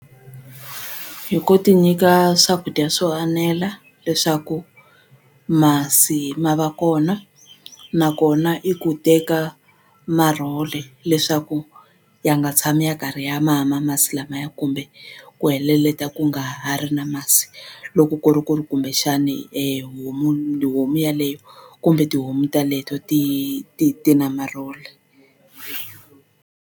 Hi ku ti nyika swakudya swo anela leswaku masi ma va kona nakona i ku teka marhole leswaku ya nga tshami ya karhi ya mama masi lamaya kumbe ku heleleta ku nga ha ri na masi loko ku ri ku ri kumbexani homu homu yeleyo kumbe tihomu taleto ti ti ti na marhole.